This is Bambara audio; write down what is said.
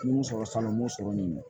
N ye mun sɔrɔ sannɔ n b'o sɔrɔ nin de